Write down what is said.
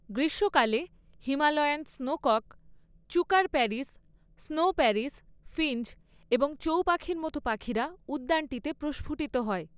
গ্রীষ্মকালে, Himalayan snowcock, chukar partridge, snow partridge, finch এবং চৌ পাখির মতো পাখিরা উদ্যানটিতে প্রস্ফুটিত হয়।